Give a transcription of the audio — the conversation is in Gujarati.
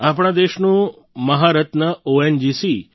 આપણા દેશનું મહારત્ન ઓએનજીસી